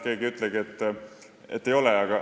Keegi ei ütlegi, et ei ole.